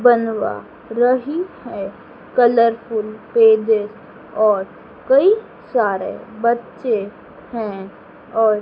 बनवा रही है कलरफुल पेज और कई सारे बच्चे है और--